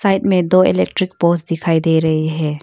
में दो electric poles दिखाई दे रही है।